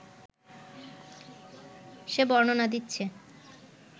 সে বর্ণনা দিচ্ছে